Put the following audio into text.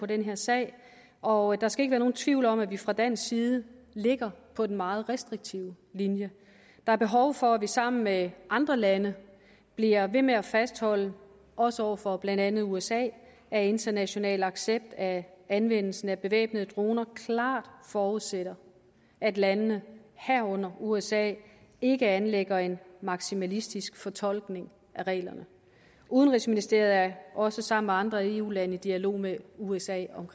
den her sag og der skal ikke være nogen tvivl om at vi fra dansk side ligger på den meget restriktive linje der er behov for at vi sammen med andre lande bliver ved med at fastholde også over for blandt andet usa at international accept af anvendelsen af bevæbnede droner klart forudsætter at landene herunder usa ikke anlægger en maksimalistisk fortolkning af reglerne udenrigsministeriet er også sammen med andre eu lande i dialog med usa om